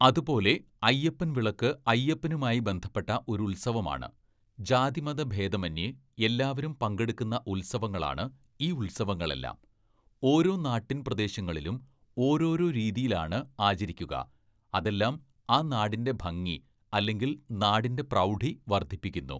"അതുപോലെ അയ്യപ്പൻ വിളക്ക് അയ്യപ്പനുമായി ബന്ധപ്പെട്ട ഒരു ഉത്സവമാണ്. ജാതിമതഭേതമന്യേ എല്ലാവരും പങ്കെടുക്കുന്ന ഉത്സവങ്ങളാണ് ഈ ഉത്സവങ്ങളെല്ലാം. ഓരോ നാട്ടിൻ പ്രദേശങ്ങളിലും ഓരോ ഓരോ രീതിയിലാണ് ആചരിക്കുക. അതെല്ലാം ആ നാടിൻ്റെ ഭംഗി അല്ലെങ്കിൽ നാടിൻ്റെ പ്രൗഢി വര്‍ധിപ്പിക്കുന്നു. "